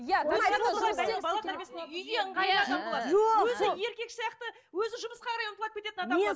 өзі еркек сияқты өзі жұмысқа қарай